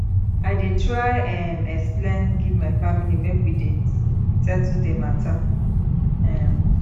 i dey try um explain give my family make we settle di mata um